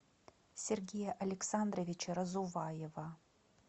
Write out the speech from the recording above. сергея александровича разуваева